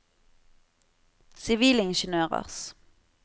sivilingeniørers